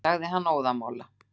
sagði hann óðamála.